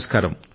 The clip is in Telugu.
నమస్కారం